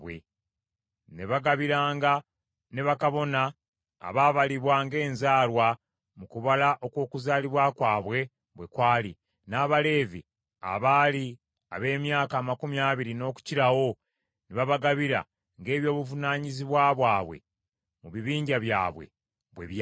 Ne bagabiranga ne bakabona abaabalibwa ng’enzaalwa mu kubala okw’okuzaalibwa kwabwe bwe kwali, n’Abaleevi abaali ab’emyaka amakumi abiri n’okukirawo ne babagabira ng’eby’obuvunaanyizibwa bwabwe mu bibinja byabwe bwe byali.